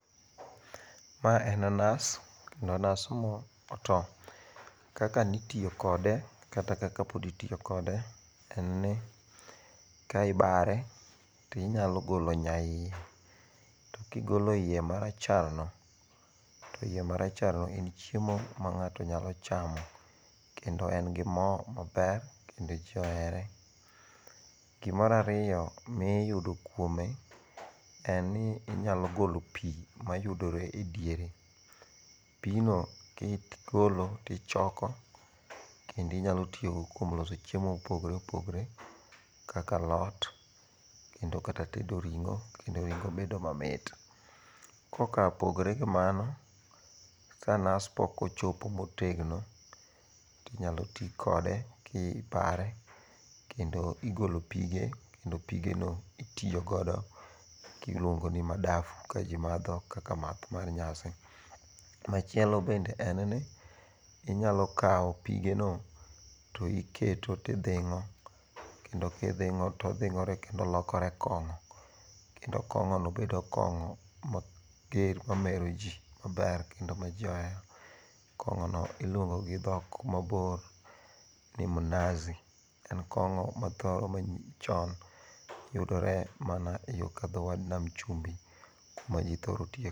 Mae en nas kendo nas ma oto, kaka nitiyo kode kata kaka pod itiyo kode en ni kae ibare tinyalo golo nyaie to kigilo nyaiye maracharno to hiye maracharno en chiemo ma nga'to nyalo chamo kendo en gi mo maber kendo ji ohere, gimara riyo mi iyudo kuome en ni inyalo golo pi mayudore e diere, pino ka igolo to ichoko kendo inyalo tiyogodo kuom loso chiemo ma opogore opogore kaka alot kendo kata tedo ringo' kendo ringo' medo mamit, ko kaa opogore gi mano ka nas pokochopo motegno, inyalo ti kode ki bare kendo igolo pige kendo pigeno itiyo godo kiluongo ni madafu kaji matho kaka math mar nyasi, machielo bende en ni inyalo kawo pigeno to iketo ti ithingo' kendo kithingo' to othingo're kendo olokore kongo', kendo kongo'no bedo kongo' mameroji maber kendo ma ji ohero, kongo'no iluongo gi tho kumabor ni mnazi en kongo mathoro meroji chon yudore mana e yo ka tho wath cumbi ema ji thoro tiyo kode